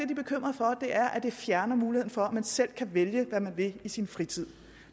at er at det fjerner muligheden for at man selv kan vælge hvad man vil i sin fritid